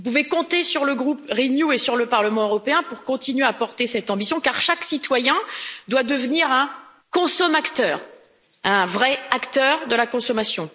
Vous pouvez compter sur le groupe Renew et sur le Parlement européen pour continuer à porter cette ambition car chaque citoyen doit devenir un consomacteur un vrai acteur de la consommation.